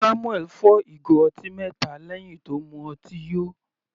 Samuel fọ́ ìgò ọtí mẹta lẹ́hìn tí ó mu ọtí yó.